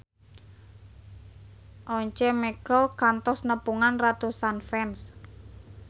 Once Mekel kantos nepungan ratusan fans